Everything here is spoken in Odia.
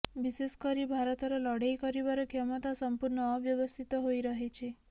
ବିଶେଷ କରି ଭାରତର ଲଢେଇ କରିବାର କ୍ଷମତା ସଂପୂର୍ଣ୍ଣ ଅବ୍ୟବସ୍ଥିତ ହୋଇ ରହିଛି